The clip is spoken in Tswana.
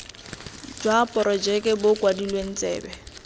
jwa porojeke bo kwadilwe tsebe